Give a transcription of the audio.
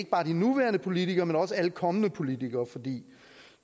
bare de nuværende politikere men også alle kommende politikere fordi